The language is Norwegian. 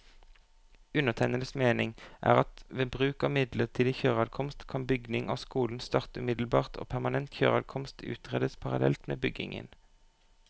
Undertegnedes mening er at ved bruk av midlertidig kjøreadkomst, kan bygging av skolen starte umiddelbart og permanent kjøreadkomst utredes parallelt med byggingen.